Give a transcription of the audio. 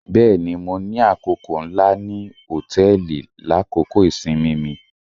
Bẹẹni, Mo ni akoko nla ni hotẹẹli lakoko isinmi mi.